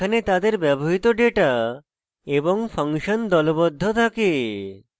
যেখানে তাদের ব্যবহৃত ডেটা এবং ফাংশন দলবদ্ধ থাকে